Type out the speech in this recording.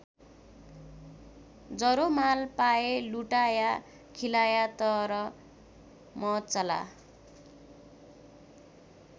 जरो माल पाए लुटाया खिलाया तर म चला।